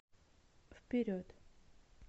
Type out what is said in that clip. вперед